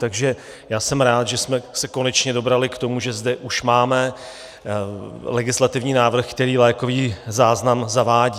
Takže já jsem rád, že jsme se konečně dobrali k tomu, že zde už máme legislativní návrh, který lékový záznam zavádí.